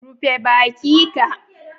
Rufe baki ka.